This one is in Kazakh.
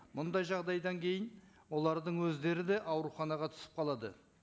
мұндай жағдайдан кейін олардың өздері де ауруханаға түсіп қалады